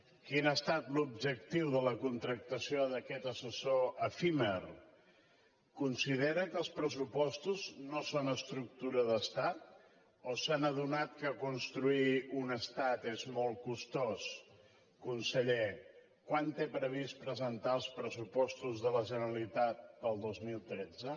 quin ha estat l’objectiu de la contractació d’aquest assessor efímer considera que els pressupostos no són estructura d’estat o s’han adonat que construir un estat és molt costós conseller quan té previst presentar els pressupostos de la generalitat per al dos mil tretze